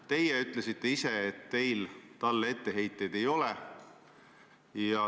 Teie ütlesite ise, et teil talle etteheiteid ei ole.